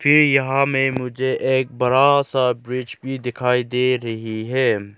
कि यहां में मुझे एक बड़ा सा ब्रिज भी दिखाई दे रही है।